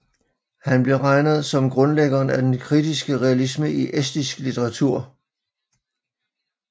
Han bliver regnet som grundlæggeren af den kritiske realisme i estisk litteratur